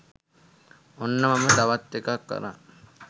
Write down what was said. ඔන්න මම තවත් එකක් අරන්